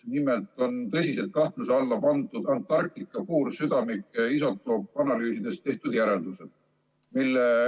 Nimelt on tõsiselt kahtluse alla pandud Antarktika puursüdamike isotoopanalüüsidest tehtud järeldused.